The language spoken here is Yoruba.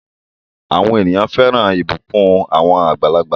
Àwọn ènìyàn fẹ́ràn ìbùkún àwọn àgbàlagbà.